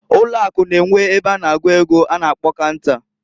Ụlọ Akụ N'enwe ebe a na-agụ ego a na-akpo canta.